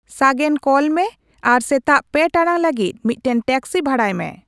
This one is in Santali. ᱥᱟᱜᱮᱱ ᱠᱚᱞ ᱢᱮ ᱟᱨ ᱥᱮᱛᱟᱜ ᱯᱮ ᱴᱟᱬᱟᱝ ᱞᱟᱹᱜᱤᱫ ᱢᱤᱫᱴᱟᱝ ᱴᱮᱠᱥᱤ ᱵᱷᱟᱲᱟᱭ ᱢᱮ